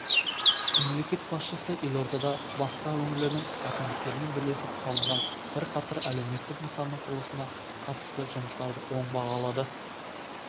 мемлекет басшысы елордада басқа өңірлердің әкімдіктерімен бірлесіп салынған бірқатар әлеуметтік нысанның құрылысына қатысты жұмыстарды оң бағалады